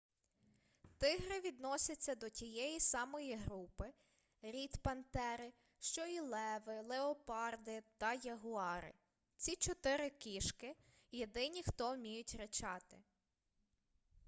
тигри відносяться до тієї самої групи рід пантери що і леви леопарди та ягуари. ці чотири кішки – єдині хто вміють ричати